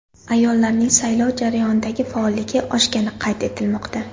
Ayollarning saylov jarayonidagi faolligi oshgani qayd etilmoqda.